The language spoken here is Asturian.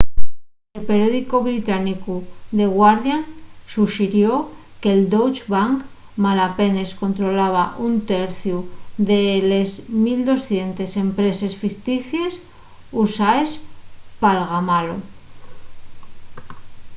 el periódicu británicu the guardian suxirió que'l deutsche bank malapenes controlaba un terciu de les 1200 empreses ficticies usaes p'algamalo